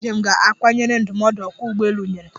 Ndi njem ga-akwanyere ndụmọdụ ọkwa ụgbọelu nyere.